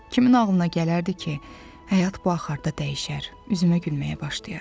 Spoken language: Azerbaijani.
Kimin ağlına gələrdi ki, həyat bu axarda dəyişər, üzümə gülməyə başlayar.